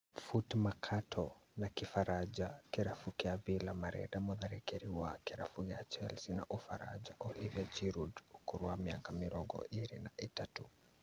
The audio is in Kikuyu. Footmercato, na kĩfaranja, Kĩrabu kĩa Villa marenda mũtharĩkĩri wa kĩrabu kĩa Chelsea na Ũfaranja Olivier Giroud ũkũrũ wa mĩaka mĩrongo ĩrĩ na ĩtatũ